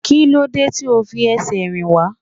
Kílódé tí ó fi ẹsẹ̀ rìn wá?